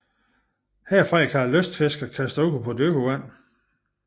Herfra kan lystfiskere kaste ud på dybt vand